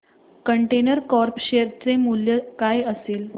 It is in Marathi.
कंटेनर कॉर्प शेअर चे मूल्य काय असेल